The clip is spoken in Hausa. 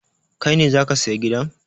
Kai ne za ka saya gidan?